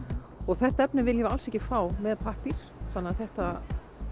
það efni viljum við alls ekki fá með pappír þannig að þetta